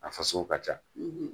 A fasugu ka ca